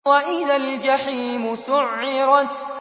وَإِذَا الْجَحِيمُ سُعِّرَتْ